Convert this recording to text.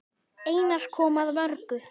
Einar kom að mörgu.